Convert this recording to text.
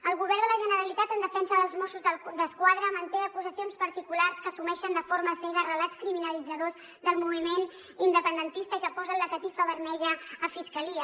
el govern de la generalitat en defensa dels mossos d’esquadra manté acusacions particulars que assumeixen de forma cega relats criminalitzadors del moviment independentista i que posen la catifa vermella a fiscalia